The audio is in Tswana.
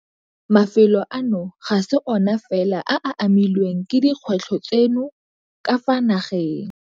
Mafelo ano ga se ona fela a a amilweng ke dikgwetlho tseno ka fa nageng.